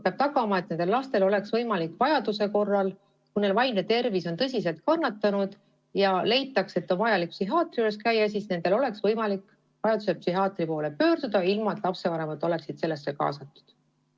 Peab tagama, et nendel lastel oleks võimalik vajaduse korral, kui nende vaimne tervis on tõsiselt kannatanud ja leitakse, et neil on vaja psühhiaatri juures käia, psühhiaatri poole pöörduda ilma, et lapsevanemad oleksid sellesse kaasatud.